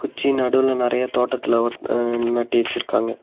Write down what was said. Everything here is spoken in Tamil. குச்சி நடுவுல நெறைய தோட்டத்துல ஒட் அர்ன் நட்டி வச்சுருக்காங்க.